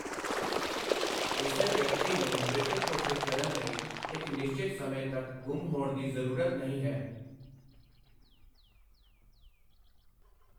ਕਿਸੇ ਵਿਅਕਤੀ ਨੂੰ ਮ੍ਰਿਤਿਕ ਘੋਸ਼ਿਤ ਕਰਨ ਲਈ ਇੱਕ ਨਿਸ਼ਚਿਤ ਸਮੇਂ ਤੱਕ ਗੁੰਮ ਹੋਣ ਦੀ ਜ਼ਰੂਰਤ ਨਹੀਂ ਹੈ।